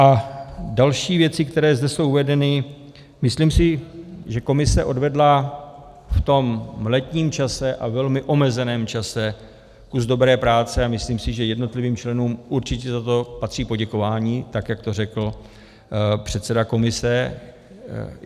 A další věci, které zde jsou uvedeny, myslím si, že komise odvedla v tom letním čase a velmi omezeném čase kus dobré práce, a myslím si, že jednotlivým členům určitě za to patří poděkování, tak jak to řekl předseda komise.